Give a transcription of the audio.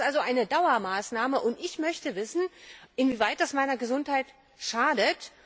Das ist eine Dauermaßnahme, und ich möchte wissen, inwieweit das meiner Gesundheit schadet.